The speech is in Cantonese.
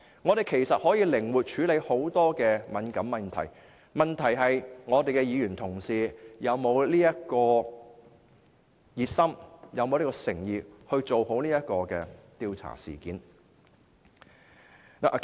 我們可以靈活處理眾多敏感問題，問題是議員是否熱心和有誠意做好這項調查。